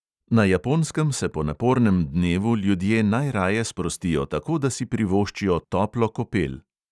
Na japonskem se po napornem dnevu ljudje najraje sprostijo tako, da si privoščijo toplo kopel.